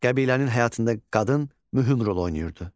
Qəbilənin həyatında qadın mühüm rol oynayırdı.